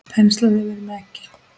Penslað yfir með eggi.